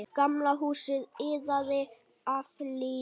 Gamla húsið iðaði af lífi.